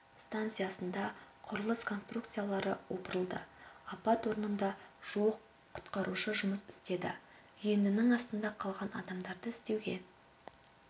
станциясында құрылыс конструкциялары опырылды апат орнында жуық құтқарушы жұмыс істеді үйіндінің астында қалған адамдарды іздеуге